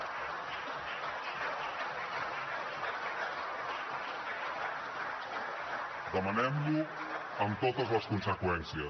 demanem lo amb totes les conseqüències